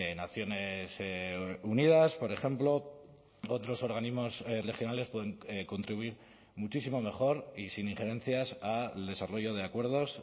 naciones unidas por ejemplo otros organismos regionales pueden contribuir muchísimo mejor y sin injerencias al desarrollo de acuerdos